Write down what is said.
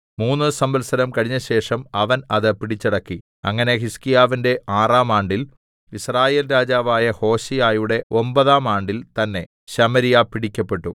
മൂന്ന് സംവത്സരം കഴിഞ്ഞശേഷം അവൻ അത് പിടിച്ചടക്കി അങ്ങനെ ഹിസ്ക്കീയാവിന്റെ ആറാം ആണ്ടിൽ യിസ്രായേൽ രാജാവായ ഹോശേയയുടെ ഒമ്പതാം ആണ്ടിൽ തന്നേ ശമര്യ പിടിക്കപ്പെട്ടു